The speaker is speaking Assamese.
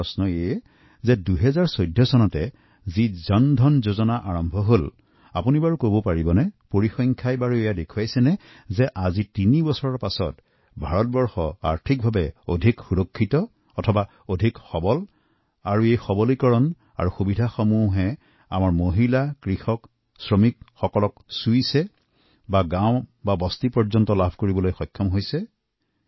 মোৰ প্ৰশ্ন হল ২০১৪ চনত যি জন ধন যোজনা আৰম্ভ কৰা হৈছিল পৰিসংখ্যাই কি কৈছে তাৰ তিনি বছৰ পাছত ভাৰতৱৰ্ষ আৰ্থিক দিশৰ পৰা অধিক সুৰক্ষিত হৈছে নে এই অধিক সবলীকৰণৰ উপকাৰ আমাৰ মহিলা কৃষক শ্ৰমিকসকলে পাইছেনে গাৱৰ পৰা সৰ্বত্ৰে তাৰ প্ৰভাব পৰিছেনে ধন্যবাদ